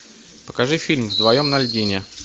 покажи фильм вдвоем на льдине